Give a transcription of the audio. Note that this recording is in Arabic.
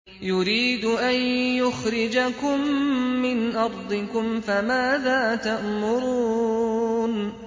يُرِيدُ أَن يُخْرِجَكُم مِّنْ أَرْضِكُمْ ۖ فَمَاذَا تَأْمُرُونَ